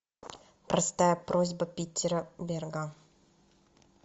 простая просьба питера берга